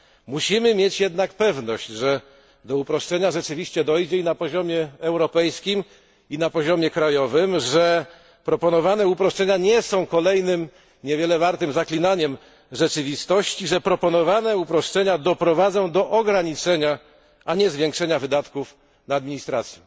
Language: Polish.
Musimy mieć jednak pewność, że do uproszczenia rzeczywiście dojdzie i na poziomie europejskim, i na poziomie krajowym, że proponowane uproszczenia nie są kolejnym niewiele wartym zaklinaniem rzeczywistości, że proponowane uproszczenia doprowadzą do ograniczenia, a nie do zwiększenia wydatków na administrację.